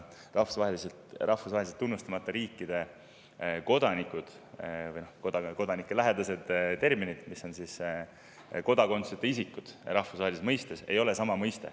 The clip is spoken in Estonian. Palestiina ja muude rahvusvaheliselt tunnustamata riikide kodanikud, või siin kodaniku lähedast terminit, kodakondsuseta isikud rahvusvahelise mõiste järgi – see ei ole sama mõiste.